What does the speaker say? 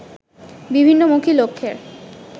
বিভিন্নমুখী লক্ষ্যের